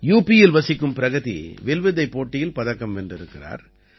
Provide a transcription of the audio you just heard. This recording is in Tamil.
யுபியில் வசிக்கும் பிரகதி வில்வித்தைப் போட்டியில் பதக்கம் வென்றிருக்கிறார்